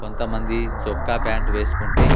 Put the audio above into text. కొంతమంది చొక్కా ప్యాంటు వేసుకుంటే--